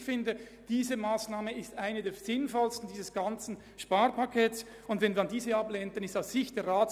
Ich denke, dass diese Massnahme zu den sinnvollsten des ganzen Sparpakets gehört.